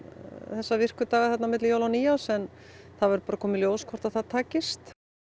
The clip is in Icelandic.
þessa virku daga á milli jóla og nýárs en það verður bara að koma í ljós hvort það takist